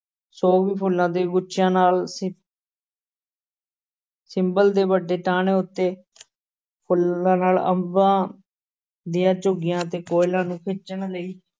ਸੋਗਵੀ ਫੁੱਲਾਂ ਦੇ ਗੁੱਛਿਆਂ ਨਾਲ ਸਿ~ ਸਿੰਬਲ ਦੇ ਵੱਡੇ ਟਾਹਣੇ ਉੱਤੇ ਫੁੱਲਾਂ ਨਾਲ ਅੰਬਾਂ ਦੀਆਂ ਝੁੱਗੀਆਂ ਤੇ ਕੋਇਲਾਂ ਨੂੰ ਖਿੱਚਣ ਲਈ